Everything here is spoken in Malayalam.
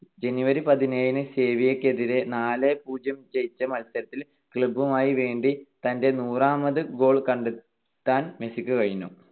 January പതിനേഴിന് സെവിയ്യക്കെതിരെ നാല് - പൂജ്യം ന്ന് ജയിച്ച മത്സരത്തിൽ club നു വേണ്ടി തന്റെ നൂറാമത് goal കണ്ടെത്താൻ മെസ്സിക്ക് കഴിഞ്ഞു.